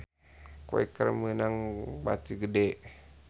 Quaker meunang bati gede